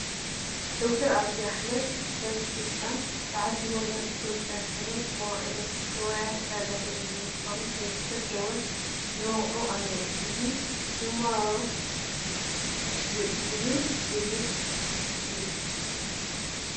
ዳክተር ዓብዪ ኣሕመድ ብሰበ ስልጣናት ተዓጂቦም ናይ ኢትዮጵያ ሰነድ መዋዕለ ንዋያት ዕዳጋ ዝተጀመረ ምኳኑ ዘብስር ደወል ይወቅዑ ኣለዉ፡፡ እዚ ጅማሮ ይበል ዘብል እዩ፡፡